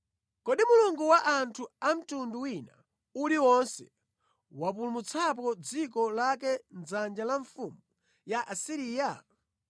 Kodi mulungu wa anthu a mtundu wina uliwonse wapulumutsapo dziko lake mʼdzanja la mfumu ya ku Asiriya?